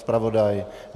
Zpravodaje.